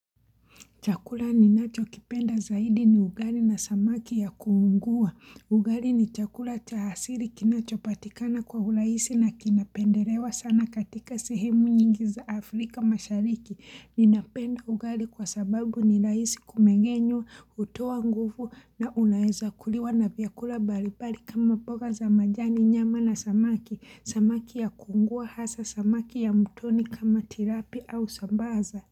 Chakula ninacho kipenda zaidi ni ugali na samaki ya kuungua. Ugali ni chakula cha hasili kinacho patikana kwa urahisi na kinapendelewa sana katika sehemu nyingi za Afrika mashariki. Ninapenda ugali kwa sababu ninahisi kumengenyo, utoa nguvu na unaeza kuliwa na vyakula mbali mbali kama mboga za majani nyama na samaki. Samaki ya kuungua hasa samaki ya mtoni kama tilapia au sambaza.